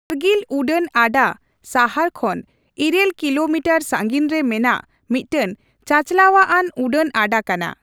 ᱠᱟᱨᱜᱤᱞ ᱩᱰᱟᱹᱱ ᱟᱰᱟ ᱥᱟᱦᱟᱨ ᱠᱷᱚᱱ ᱤᱨᱟᱹᱞ ᱠᱤᱞᱚ ᱢᱤᱴᱤᱴᱨ ᱥᱟᱺᱜᱤᱧ ᱨᱮ ᱢᱮᱱᱟᱜ ᱢᱤᱫᱴᱟᱝᱼᱪᱟᱪᱟᱞᱟᱣ ᱟᱱ ᱩᱰᱟᱹᱱ ᱟᱰᱟ ᱠᱟᱱᱟ ᱾